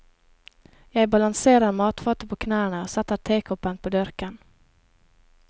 Jeg balanserer matfatet på knærne og setter tekoppen på dørken.